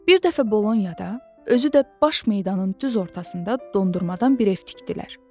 Bir dəfə Bolonyada, özü də baş meydanın düz ortasında dondurmadan bir ev tikdilər.